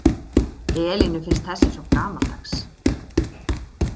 Elínu finnst þessi svo gamaldags.